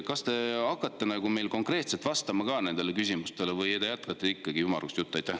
Kas te hakkate konkreetselt vastama nendele küsimustele või te jätkate ikkagi ümmargust juttu?